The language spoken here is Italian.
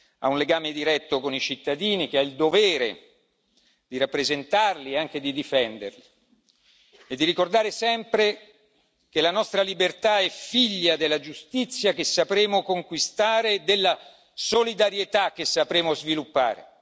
ha un legame diretto con i cittadini, che ha il dovere di rappresentare e anche di difendere, nonché di ricordare sempre che la nostra libertà è figlia della giustizia che sapremo conquistare e della solidarietà che sapremo sviluppare.